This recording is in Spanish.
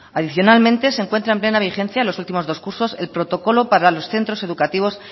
adicionalmente se encuentran en plena vigencia en los últimos dos cursos el protocolo para los centros educativos